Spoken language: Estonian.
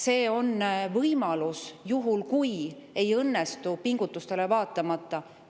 See on võimalus juhuks, kui pingutustele vaatamata ei õnnestu.